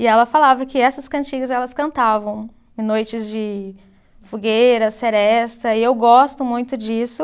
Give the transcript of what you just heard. E ela falava que essas cantigas elas cantavam em noites de fogueira, seresta, e eu gosto muito disso.